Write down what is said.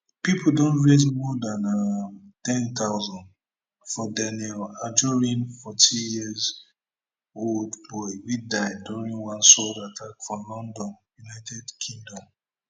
pipo don raise more dan um ten thousand for daniel anjorin fourteen yearold boy wey die during one sword attack for london united kingdom